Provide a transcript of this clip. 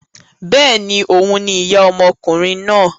Bẹ́ẹ̀ni, òhun ni ìyá ọmọkùnrin náà.